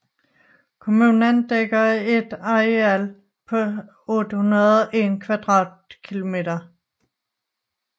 Kommunen dækker et areal på 801 km²